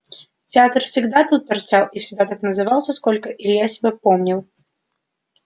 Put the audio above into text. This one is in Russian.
театр всегда тут торчал и всегда так назывался сколько илья себя помнил